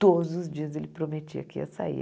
Todos os dias ele prometia que ia sair.